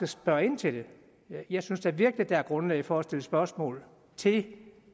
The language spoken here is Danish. spørge ind til det jeg synes da virkelig der er grundlag for at stille spørgsmål til